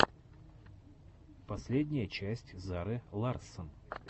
последняя часть зары ларссон